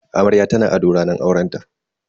Amarya tana ado ranar aurenta.